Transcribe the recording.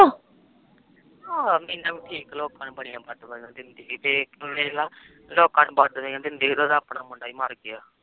ਹਾ ਮੀਨਾ ਵੀ ਠੀਕ ਲੋਕਾ ਨੂੰ